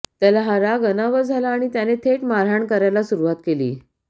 त्याला हा राग अनावर झाला आणि त्याने थेट मारहाण करायला सुरुवात केली